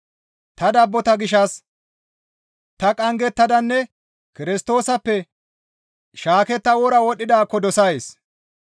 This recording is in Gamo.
Ta dabbota gishshas ta qanggetadanne Kirstoosappe shaaketta wora wodhdhidaakko dosays.